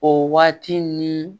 O waati ni